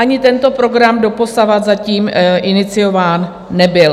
Ani tento program doposud zatím iniciován nebyl.